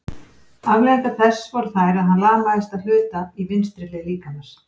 Afleiðingar þess voru þær að hann lamaðist að hluta í vinstri hlið líkamans.